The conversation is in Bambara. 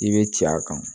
I bɛ ci a kan